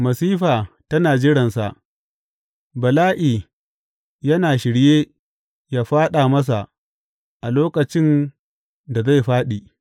Masifa tana jiransa; bala’i yana shirye yă fāɗa masa a lokacin da zai fāɗi.